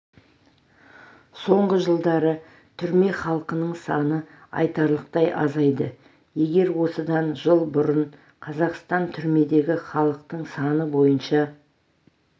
соңғы жылдары түрме халқының саны айтарлықтай азайды егер осыдан жыл бұрын қазақстан түрмедегі халықтың саны бойынша